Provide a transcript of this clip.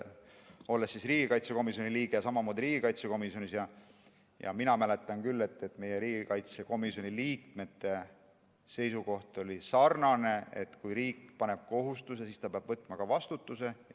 Olles varem olnud riigikaitsekomisjoni liige, ma mäletan küll, et riigikaitsekomisjoni liikmete seisukoht oli, et kui riik paneb kohustuse, siis ta peab võtma vastutuse.